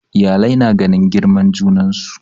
Iyalai na ganin girman junansu